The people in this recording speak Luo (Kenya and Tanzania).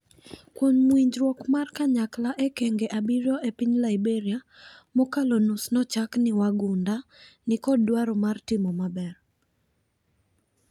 Kuom winjruok mar kanyakla e okenge abiriyo epiny Liberia ,mokalo nus nochak ni wagunda ni kod dwaro mar timo maber.